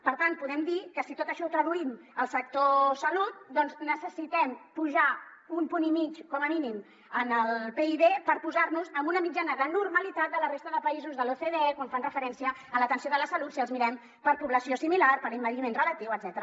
per tant podem dir que si tot això ho traduïm al sector salut doncs necessitem apujar un punt i mig com a mínim en el pib per posar nos amb una mitjana de normalitat de la resta de països de l’ocde quan fan referència a l’atenció de la salut si els mirem per població similar per envelliment relatiu etcètera